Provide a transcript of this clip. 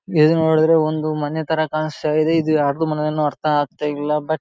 ಹೇಗೆ ನೋಡಿದರು ಒಂದು ಮನೆ ತರ ಕಾಣಸ್ತಾ ಇದೆ ಇದು ಯಾರ್ದು ಮನೆ ಅರ್ಥ ಆಗ್ತಾ ಇಲ್ಲಾ ಬಟ್ .